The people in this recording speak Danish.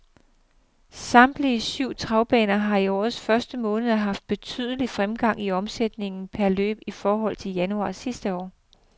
Samtlige syv travbaner har i årets første måned haft betydelig fremgang i omsætningen per løb i forhold til januar sidste år.